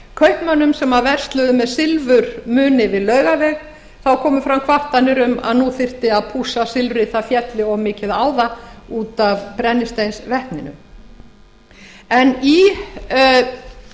meira að segja bárust kvartanir frá kaupmönnum sem versluðu með silfurmuni við laugaveg um að nú þyrfti að pússa silfrið það félli of mikið á það út af brennisteinsvetninu í